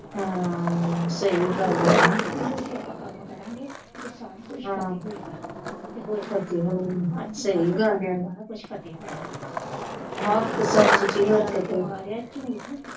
ਹਾਂ ਸਹੀ ਗੱਲ ਆ ਨਾ ਉਹ ਤੇ ਆਪਾਂ ਕੰਮ ਕਰਾਂਗੇ ਹਾਂ ਤੇ ਸਾਰਾ ਕੁਛ ਹੋਏਗਾ ਸਹੀ ਗੱਲ ਆ ਸਾਰਾ ਕੁਛ ਫਤਿਹ ਹੋਏਗਾ ਹੱਕ ਸੱਚ ਝੂਠ।